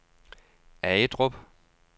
Agedrup